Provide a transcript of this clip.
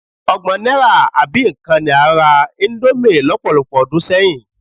Ọgbọ̀n náírà àbí nǹkan ni a ń ra íńdómì lọ́pọ̀lọpọ̀ ọdún sẹ́yìn.